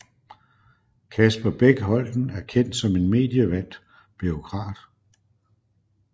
Kasper Bech Holten er kendt som en medievandt bureaukrat